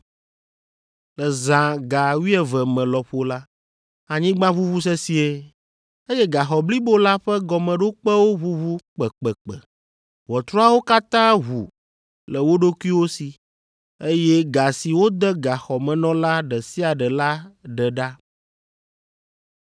Le zã ga wuieve me lɔƒo la, anyigba ʋuʋu sesĩe, eye gaxɔ blibo la ƒe gɔmeɖokpewo ʋuʋu kpekpekpe, ʋɔtruawo katã ʋu le wo ɖokuiwo si, eye ga si wode gaxɔmenɔla ɖe sia ɖe la ɖe ɖa.